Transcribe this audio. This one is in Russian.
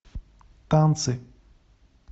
танцы